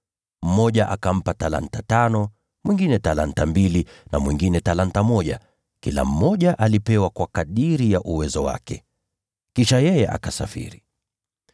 Mmoja akampa talanta tano, mwingine talanta mbili, na mwingine talanta moja. Kila mmoja alipewa kwa kadiri ya uwezo wake. Kisha yeye akasafiri.